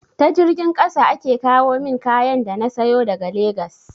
Ta jirgin ƙasa ake kawomin kayan da na sayo daga legas